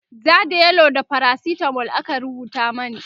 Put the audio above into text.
ja da yellow da faracitamol aka rubuta mani